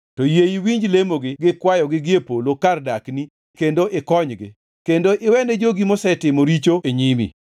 to yie iwinji lemogi gi kwayogi gie polo kar dakni kendo ikonygi. Kendo iwe ni jogi mosetimo richo e nyimi.